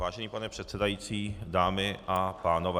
Vážený pane předsedající, dámy a pánové.